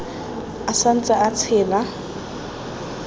a sa ntse a tshela